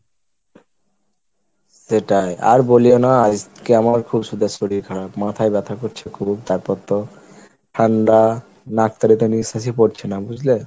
সেটাই আর বলিও না, আজকে আমার খুব শরীর খারাপ, মাথায় ব্যথা করছে খুব তারপর তো, ঠান্ডা নাক থেকে তো নিশ্বাসই পড়ছে না, বুঝলে?